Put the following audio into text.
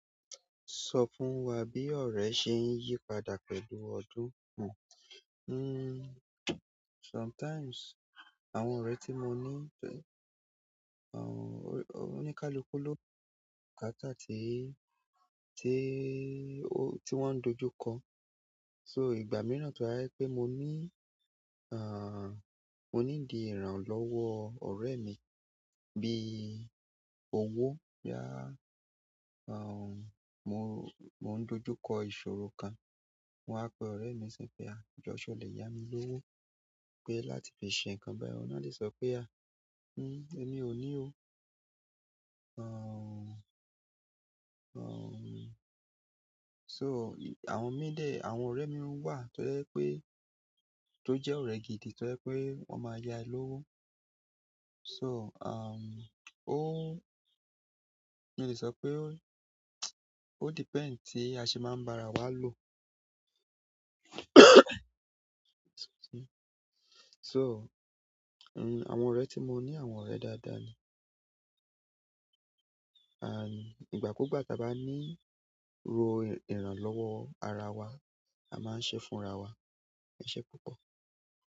Sọ fún wa bí ọ̀rẹ́ ṣe ń yípadà pẹ̀lú ọdún hun. Hmm, sometimes àwọn ọ̀rẹ́ tí mo ní ń pè, àwọn oníkálukú ló ni bukáàta tí, tí, tí wọ́n ń dojú kọ. So ìgbà mìíràn to ba je pé mo ní, àh, mo ní di ìran lọ́wọ ọ̀rẹ́ mi bí owó yá, àwọn, mo, mo ń dojú kọ ìṣòro kan, mo á pe ọ̀rẹ́ mi sọ pé "à jọ́ sọ̀ lè yá mi lówó pé láti fi ṣe nǹkan bayi." Óun náà lè sọ pé "à, hmm, èmi ò ní o." Àwọn, àwọn, so àwọn mí dè, àwọn ọ̀rẹ́ mi wà tó jẹ́ pé, tó jẹ́ ọ̀rẹ́ gidi tó jẹ́ pé wọ́n máa yá ẹ lówó. So, àwọn, ó, mi lè sọ pé ó, ó depend tí a ṣe máa ń ba ara wa lò. So àwọn ọ̀rẹ́ ti mo ni àwọn ọ̀rẹ́ daada ni ànd, ìgbà kugba tí a bá nílò ìran lọ́wọ́ ara wa, a máa ń ṣe fún ara wa. Ẹ̀ṣẹ̀ púpọ̀.